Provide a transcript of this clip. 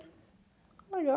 Legal.